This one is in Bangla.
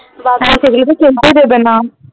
হ্যা সেগুলো তো ফেলতেই দেবে না